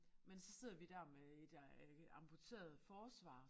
Men så sidder vi der med et øh amputeret forsvar